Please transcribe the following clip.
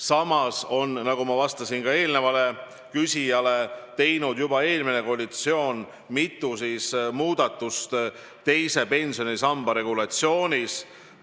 Samas on, nagu ma vastasin ka eelmisele küsijale, juba eelmine koalitsioon teinud mitu muudatust teise pensionisamba regulatsioonis.